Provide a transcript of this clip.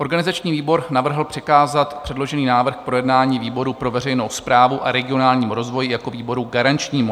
Organizační výbor navrhl přikázat předložený návrh k projednání výboru pro veřejnou správu a regionální rozvoj jako výboru garančnímu.